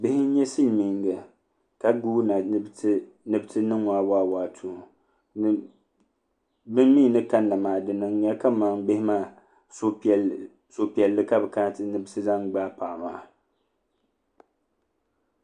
Bihi n nyɛ silmiinga ka guuna ni bi ti niŋɔ awaawaatuu bi mii ni kanna maa di niŋya kamani bihi maa suhupiɛlli ka bi kana ni bi ti zaŋ gbaai paɣa maa